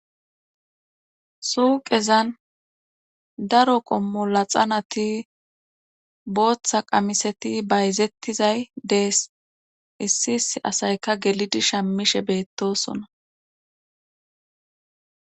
suuqezan daro qommola xanati booththa qamiseti bayzettizay dees issi issi asayka gelidi shammishe beettosona